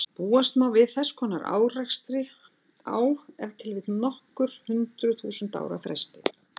Búast má við þess konar árekstri á ef til vill nokkur hundruð þúsund ára fresti.